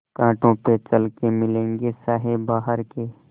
कांटों पे चल के मिलेंगे साये बहार के